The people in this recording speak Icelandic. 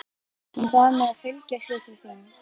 Hún bað mig að fylgja sér til þín.